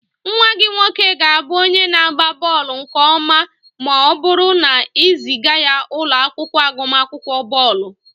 Nwa gị nwoke ga-abụ onye na-agba bọọlụ nke ọma ma ọ bụrụ na ị zịga ya ụlọ akwụkwọ agụmakwụkwọ bọọlụ